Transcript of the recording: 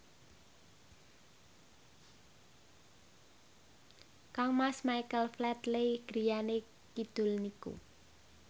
kangmas Michael Flatley griyane kidul niku